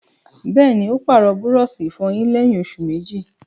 Bẹ́ẹ̀ni, ó pàrọ̀ búrọ̀sì ìfọyín lẹ́yìn òsù méjì